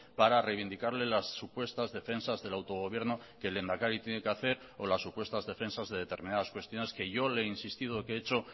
para reivindicarle las supuestas defensas del autogobierno que el lehendakari tiene que hacer o las supuestas defensas de determinadas cuestiones que yo le he insistido que he hecho